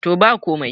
to ba komai